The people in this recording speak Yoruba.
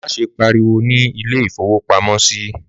Má ṣe pariwo ní ilé-ìfowópamọ́sí!